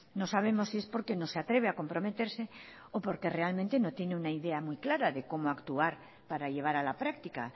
no sabemos si es porque no se atreve a comprometerse o porque realmente no tienen una idea muy clara de cómo actuar para llevar a la práctica